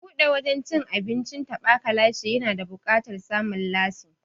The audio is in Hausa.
Buɗe wajen cin abincin taɓa ka lashe ya na buƙatar samun lasin.